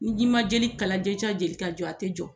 N'i ma jeli kala jeli ka jɔ a tɛ jɔ.